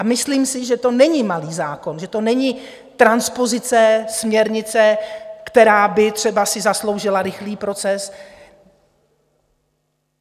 A myslím si, že to není malý zákon, že to není transpozice směrnice, která by si třeba zasloužila rychlý proces.